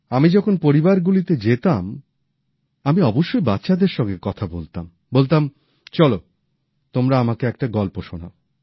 আমি যখন পরিবারগুলিতে যেতাম আমি অবশ্যই বাচ্চাদের সঙ্গে কথা বলতাম এবং বলতাম চলো তোমরা আমাকে একটা গল্প শোনাও